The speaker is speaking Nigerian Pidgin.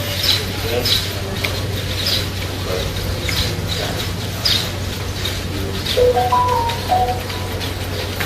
get um patience because e dey take time um to build um family ties